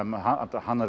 hann